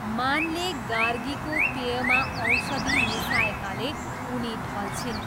मानले गार्गीको पेयमा औषधि मिसाएकाले उनी ढल्छिन्।